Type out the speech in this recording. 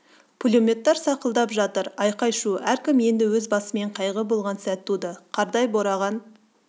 пулеметтер сақылдап жатыр айқай-шу әркім енді өз басымен қайғы болған сәт туды қардай бораған